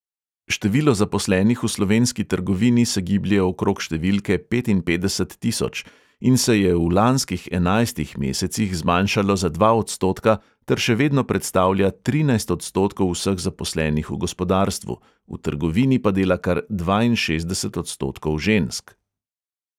Število zaposlenih v slovenski trgovini se giblje okrog številke petinpetdeset tisoč in se je v lanskih enajstih mesecih zmanjšalo za dva odstotka ter še vedno predstavlja trinajst odstotkov vseh zaposlenih v gospodarstvu, v trgovini pa dela kar dvainšestdeset odstotkov žensk.